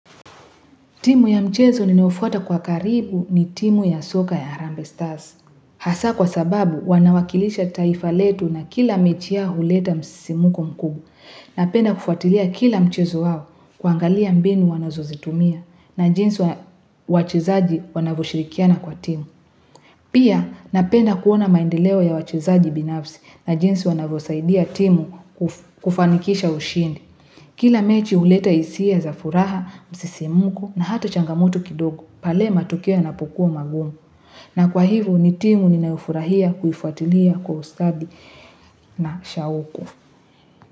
Timu ya mchezo ninaofuata kwa karibu ni timu ya soka ya harambee stars. Hasa kwa sababu wanawakilisha taifa letu na kila mechi yao huleta msisimuko mkubwa. Napenda kufuatilia kila mchezo wao kuangalia mbinu wanazozitumia na jinsi wachezaji wanavyoshirikiana kwa timu. Pia napenda kuona maendeleo ya wachezaji binafsi na jinsi wanavyosaidia timu kufanikisha ushindi. Kila mechi huleta hisia za furaha, msisimuko na hata changamoto kidogo, pale matokeo yanapokuwa magumu. Na kwa hivyo ni timu ninayofurahia kuifuatilia kwa ustadi na shauku.